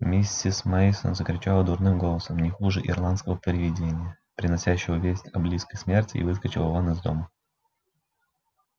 миссис мейсон закричала дурным голосом не хуже ирландского привидения приносящего весть о близкой смерти и выскочила вон из дома